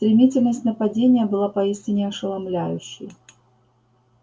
стремительность нападения была поистине ошеломляющей